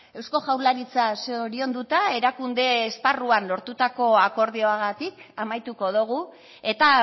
eusko jaurlaritza zorionduta erakunde esparruan lortutako akordioagatik amaituko dugu eta